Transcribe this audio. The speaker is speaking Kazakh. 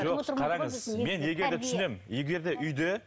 жоқ қараңыз мен егер де түсінемін егер де үйде